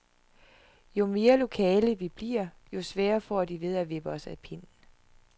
Jo mere lokale vi bliver, jo sværere får de ved at vippe os af pinden.